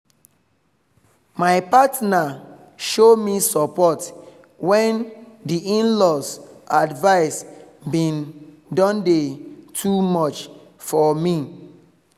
my partner show me support when di in-laws advice been don dey too much for me